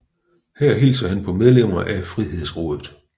Herefter hilser han på medlemmer af Frihedsrådet